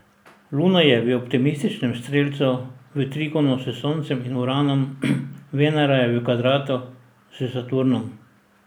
Luna je v optimističnem strelcu, v trigonu s Soncem in Uranom, Venera je v kvadratu s Saturnom.